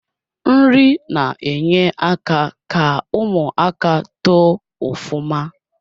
Nri na enye aka ka ụmụaka too ufuma